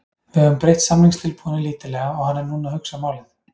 Við höfum breytt samningstilboðinu lítillega og hann er núna að hugsa málið.